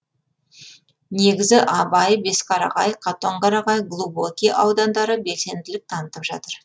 негізі абай бесқарағай қатонқарағай глубокий аудандары белсенділік танытып жатыр